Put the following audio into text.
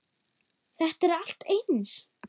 Þetta er allt eins!